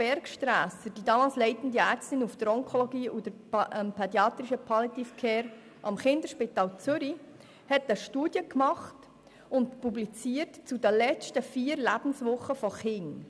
Die damals leitende Ärztin der Onkologie und Pädiatrische Palliative Care am Kinderspital Zürich, Dr. Eva Bergsträsser, publizierte eine Studie zu den vier letzten Lebenswochen von Kindern.